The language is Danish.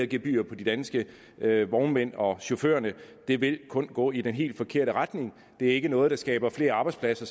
gebyrer på de danske vognmænd og chauffører vil det kun gå i den helt forkerte retning det er ikke noget der skaber flere arbejdspladser